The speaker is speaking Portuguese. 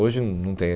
Hoje não não tem.